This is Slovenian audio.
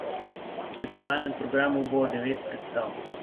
V tekmovalnem programu bo devet predstav.